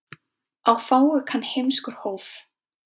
Á fáu kann heimskur hóf.